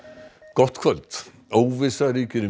gott kvöld óvissa ríkir um